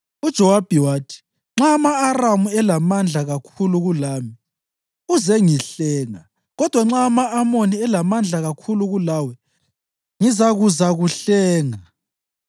UJowabi wathi, “Nxa ama-Aramu elamandla kakhulu kulami, uzengihlenga; kodwa nxa ama-Amoni elamandla kakhulu kulawe, ngizakuzakuhlenga.